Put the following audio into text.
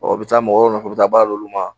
Ɔ u bi taa mɔgɔw nɔfɛ u bi taa baara d'olu ma.